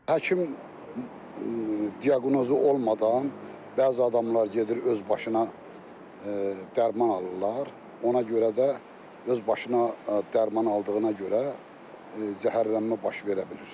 Həkim diaqnozu olmadan bəzi adamlar gedir öz başına dərman alırlar, ona görə də öz başına dərman aldığına görə zəhərlənmə baş verə bilir.